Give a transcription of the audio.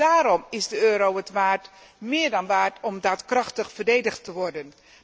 Daarom is de euro het meer dan waard om daadkrachtig verdedigd te worden.